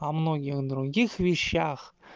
о многих других вещах